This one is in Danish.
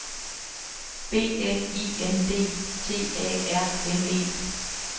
B L I N D T A R M E